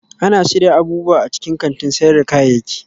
Ana shirya abubuwa a cikin kantin sayar da kayayyaki